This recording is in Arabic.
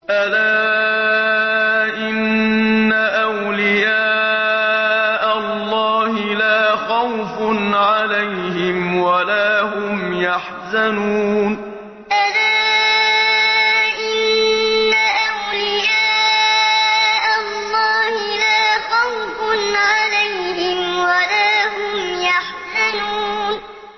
أَلَا إِنَّ أَوْلِيَاءَ اللَّهِ لَا خَوْفٌ عَلَيْهِمْ وَلَا هُمْ يَحْزَنُونَ أَلَا إِنَّ أَوْلِيَاءَ اللَّهِ لَا خَوْفٌ عَلَيْهِمْ وَلَا هُمْ يَحْزَنُونَ